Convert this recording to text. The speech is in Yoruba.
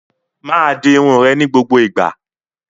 Máa di irun rẹ ni gbogbo igba!